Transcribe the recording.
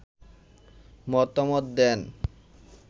মতামত দেন